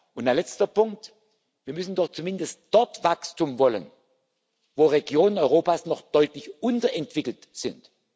Und ein letzter Punkt Wir müssen doch zumindest dort Wachstum wollen, wo Regionen Europas noch deutlich unterentwickelt sind.